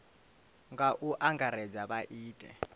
nga u angaredza vha ite